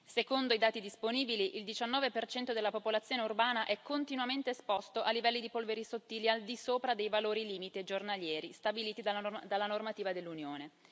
Secondo i dati disponibili, il 19 della popolazione urbana è continuamente esposto a livelli di polveri sottili al di sopra dei valori limite giornalieri stabiliti dalla normativa dell'Unione.